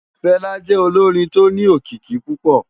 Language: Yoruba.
Fela jè ólórin tó ni ókiki púpò